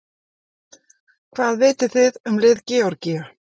Hvað vitið þið um lið Georgíu?